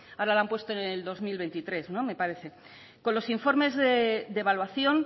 ahora la han puesto para el dos mil veintitrés me parece con los informes de evaluación